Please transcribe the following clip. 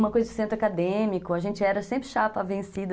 Uma coisa de centro acadêmico, a gente era sempre chapa vencida.